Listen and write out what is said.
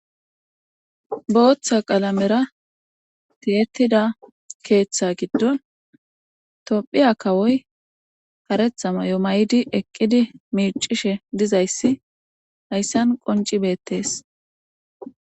Bootha qalamera tiyettida keetha giddon Tophiya kawoy karetha mayo mayidi eqqid miiccishe dizayssi hayssan qoncce beettees.